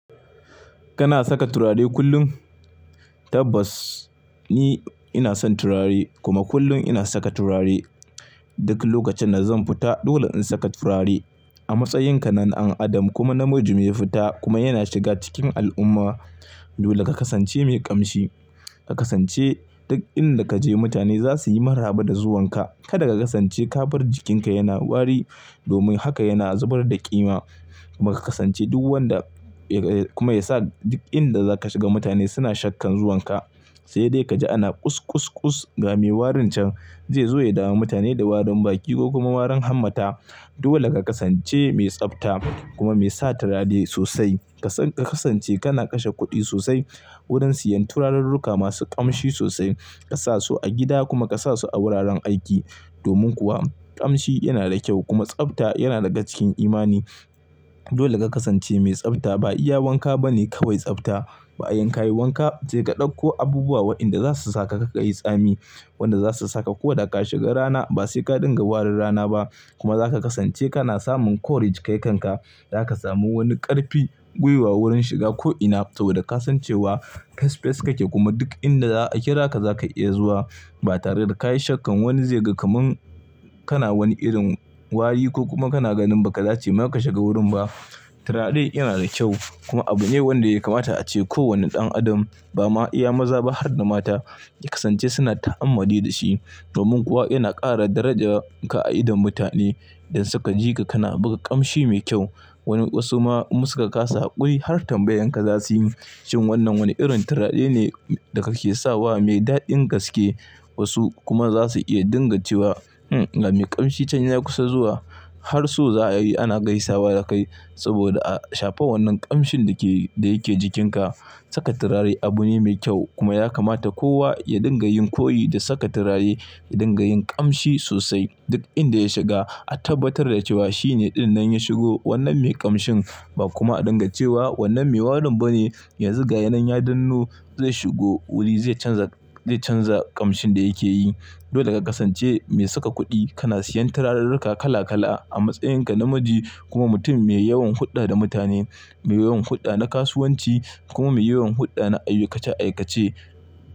Kana saka turare kullum? Tabbas ni ina son turare kuma kullum ina saka turare. Duk lokacin da zan fita dole in saka turare. A matsayinka na an adam kuma namiji mai fita kuma yana shiga cikin al'umma, dole ka kasance mai ƙamshi. Ka kasance duk inda ka je mutane za su yi maraba da zuwanka. Kada ka kasance ka bar jikinka yana wari domin haka yana zubar da ƙima. Kuma ka kasance duk wanda kuma yasa duk inda za ka shiga mutane suna shakkan zuwanka. Sai dai kaji ana ƙus ƙus ƙus ga me warin can zai zo ya damu mutane da warin baki ko kuma warin hamata. Dole ka kasance mai tsabta kuma mai sa turare sosai. Ka kasance kana kashe kuɗi sosai wurin siyan turarurruka masu ƙamshi sosai. Ka sa su a gida kuma ka sa su a wuraren aiki. Domin kuwa ƙamshi yana da kyau kuma tsabta yana daga cikin imani. Dole ka kasance mai tsabta. Ba iya wanka ba ne kawai tsabta. Ba yan ka yi wanka sai ka ɗauko abubuwa waɗanda za su saka kar ka yi tsami. Waɗanda za su saka ko da ka shiga rana ba sai ka dinga warin rana ba. Kuma za ka kasance kana samun courage kai kanka. Za ka samu wani ƙarfin gwiwa wurin shiga ko'ina saboda ka san cewa fes fes kake kuma duk inda za a kira ka za ka iya zuwa ba tare da ka yi shakkan wani zai ga kaman kana wani irin wari ko kuma kana ganin ba ka dace ma ka shiga wurin ba. Turare yana da kyau kuma abu ne wanda ya kamata ace kowani ɗan adam, ba ma iya maza ba har da mata, ya kasance suna ta'ammali da shi. Domin kuwa yana ƙara darajanka a idon mutane idan suka ji ka kana buga ƙamshi mai kyau. Wani wasu ma in su ka kasa hakuri har tambayan ka za su yi. Shin wannan wani irin turare ne da kake sawa mai daɗin gaske? Wasu kuma za su iya dinga cewa, "Hmm, ga me ƙamshi can ya kusa zuwa har so za a yi ana gaisawa da kai saboda a shafa wannan ƙamshin da yake jikinka." Saka turare abu ne mai kyau kuma ya kamata kowa ya dinga yin koyi da saka turare, ya dinga yin ƙamshi sosai duk inda ya shiga. A tabbatar da cewa shine ɗinnan ya shigo wannan mai ƙamshin ba kuma a dinga cewa wannan me warin bane yanzu ga shi nan ya dannu zai shigo wuri zai canza, zai canza ƙamshin da yake yi. Dole ka kasance mai saka kuɗi. Kana siyan turarurruka kala kala. A matsayinka namiji kuma mutum mai yawan hulɗa da mutane, mai yawan hulɗa na kasuwanci kuma mai yawan hulɗa na aikace aikace.